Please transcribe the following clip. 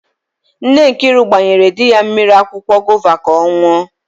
Nne Nkiru gbanyere di ya mmiri akwụkwọ gova ka ọ n̄ụọ.